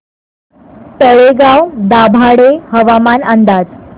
तळेगाव दाभाडे हवामान अंदाज